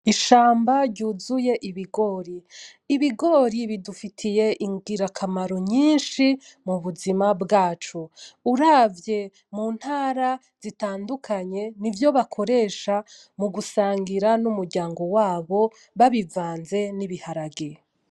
Ishamba ryuzuye ibigori. Ibigori bidufitiye ingira kamaro nyinshi mubuzima bwacu. Uravye muntara zitandukanye, nivyo bakoresha mu gusangira n'umuryango wabo babivanze n'ibiharage.